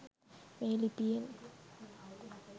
මේ ලිපියෙන්